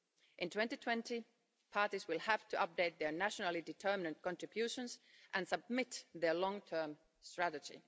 In 2020 the parties will have to update their nationally-determined contributions and submit their long-term strategy.